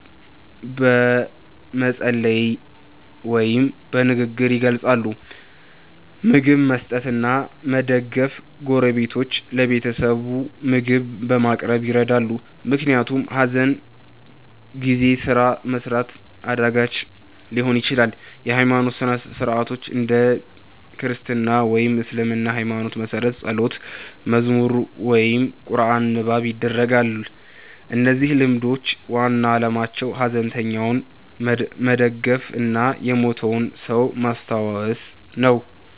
በመጸለይ ወይም በንግግር ይገልጻሉ። ምግብ መስጠት እና መደገፍ ጎረቤቶች ለቤተሰቡ ምግብ በማቅረብ ይረዳሉ፣ ምክንያቱም ሐዘን ጊዜ ስራ መስራት አዳጋች ሊሆን ይችላል። የሃይማኖት ሥርዓቶች እንደ ክርስትና ወይም እስልምና ሃይማኖት መሠረት ጸሎት፣ መዝሙር ወይም ቁርአን ንባብ ይደረጋል። እነዚህ ልማዶች ዋና ዓላማቸው ሐዘንተኛውን መደገፍ እና የሞተውን ሰው ማስታወስ ነው።